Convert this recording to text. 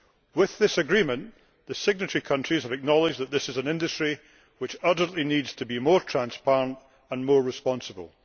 With this agreement the signatory countries have acknowledged that this is an industry which urgently needs to be more transparent and more responsible.